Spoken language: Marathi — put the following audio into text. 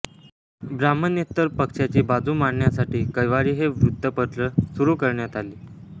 ब्राम्हणेतर पक्षाची बाजू मांडण्यासाठी कैवारी हे वृत्तपत्र सुरू करण्यात आले